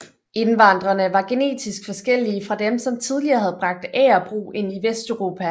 Indvandrerne var genetisk forskellige fra dem som tidligere havde bragt agerbrug ind i vesteuropa